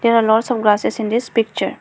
there are lots of grasses in this picture.